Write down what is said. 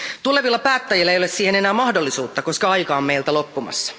Tulevilla päättäjillä ei ole siihen enää mahdollisuutta, koska aika on meiltä loppumassa.